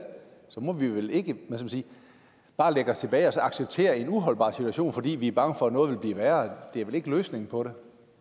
må vi vel ikke bare læne os tilbage og så acceptere en uholdbar situation fordi vi er bange for at noget er værre det er vel ikke løsningen på